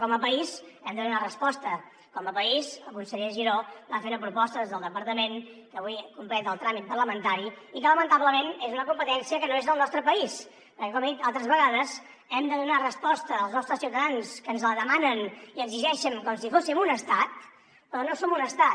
com a país hem de donar resposta com a país el conseller giró va fer una proposta des del departament que avui completa el tràmit parlamentari i que lamentablement és una competència que no és del nostre país perquè com he dit altres vegades hem de donar resposta als nostres ciutadans que ens la demanen i exigeixen com si fóssim un estat però no som un estat